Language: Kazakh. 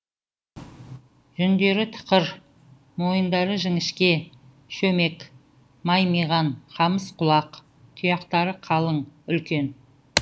жүндері тықыр мойындары жіңішке шөмек маймиған қамыс құлақ тұяқтары қалың үлкен